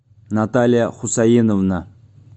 наталья хусаиновна